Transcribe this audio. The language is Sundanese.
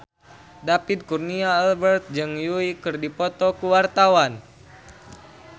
David Kurnia Albert jeung Yui keur dipoto ku wartawan